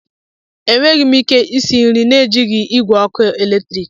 Enweghị m ike isi nri na-ejighi igwe ọkụ eletrik.